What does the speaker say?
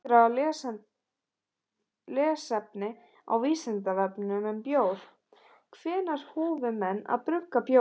Frekara lesefni á Vísindavefnum um bjór: Hvenær hófu menn að brugga bjór?